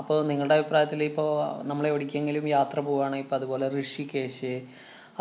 അപ്പൊ നിങ്ങടെ അഭിപ്രായത്തില്‍ ഇപ്പൊ അഹ് നമ്മളെവിടേക്കെങ്കിലും യാത്ര പോവാണേ ഇപ്പൊ അതുപോലെ ഋഷികേശ്